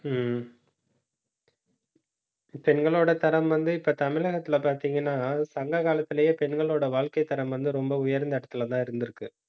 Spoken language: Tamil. உம் பெண்களோட தரம் வந்து, இப்ப தமிழகத்திலே பாத்தீங்கன்னா சங்க காலத்திலேயே, பெண்களோட வாழ்க்கைத்தரம் வந்து ரொம்ப உயர்ந்த இடத்திலேதான் இருந்திருக்கு